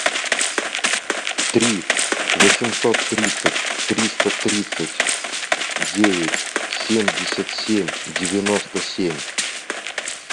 три восемьсот тридцать триста тридцать девять семьдесят семь девяносто семь